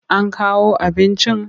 An kawo abinci?